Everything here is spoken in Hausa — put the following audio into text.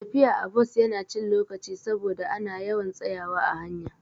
Tafiya a bus Yana cin lokaci saboda ana yawan tsayawa a hanya